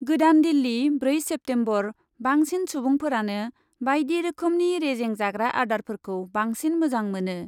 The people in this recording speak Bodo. गोदान दिल्ली, ब्रै सेप्तेम्बर, बांसिन सुबुंफोरानो बायदि रोखोमनि रेजें जाग्रा आदारफोरखौ बांसिन मोजां मोनो।